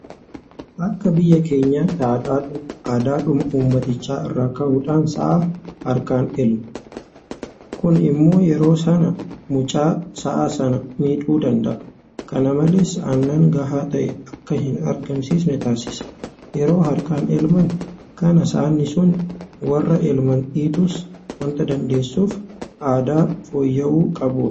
Akka biyya keenyaatti aadaadhuma uummatichaa irraa ka'uudhaan sa'a harkumaan elmu. Kun immoo yeroo sana mucha sa'a sanaa miidhuu danda'a. Kana malees aannan gahaa ta'e akka hinargamne taasisa. Yeroo harkaan elman kana saani sun warra elman dhiituus waanta dandeessuuf aadaa fooyya'uu qabudha.